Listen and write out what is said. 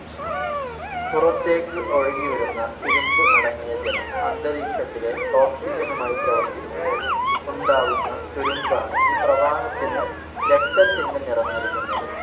പുറത്തേക്ക് ഒഴുകിവരുന്ന ഇരുമ്പ് അടങ്ങിയ ജലം അന്തരീക്ഷത്തിലെ ഓക്സിജനുമായി പ്രവർത്തിക്കുമ്പോൾ ഉണ്ടാവുന്ന തുരുമ്പാണ് ഈ പ്രവാഹത്തിനു രക്തത്തിൻ്റെ നിറം നൽകുന്നത്.